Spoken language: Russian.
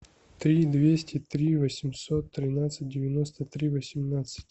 три двести три восемьсот тринадцать девяносто три восемнадцать